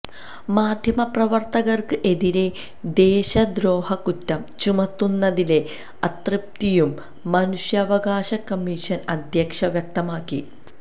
മാധ്യമപ്രവര്ത്തകര്ക്ക് എതിരെ ദേശദ്രോഹകുറ്റം ചുമത്തുന്നതിലെ അതൃപ്തിയും മനുഷ്യാവകാശ കമ്മീഷന് അധ്യക്ഷ വ്യക്തമാക്കി